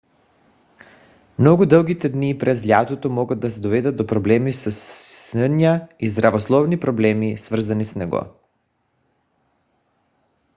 много дългите дни през лятото могат да доведат до проблеми със съня и здравословни проблеми свързани с него